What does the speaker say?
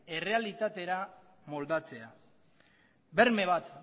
errealitatera moldatzea berme bat